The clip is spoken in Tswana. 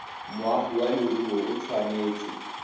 moagi wa leruri o tshwanetse